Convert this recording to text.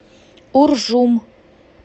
уржум